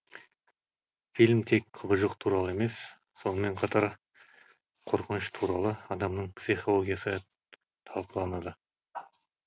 фильм тек құбыжық туралы емес сонымен қатар қорқыныш туралы адамның психологиясы талқаланады